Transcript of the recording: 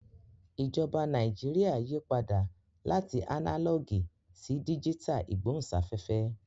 Ìjọba Nàìjíríà yí padà láti ánálọ̀gì sí díjítà ìgbóhùnsáfẹ́fẹ́